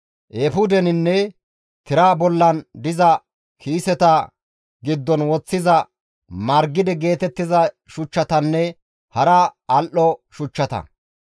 eefudeninne tira bollan diza kiiseta giddon woththiza margide geetettiza shuchchatanne hara al7o shuchchata.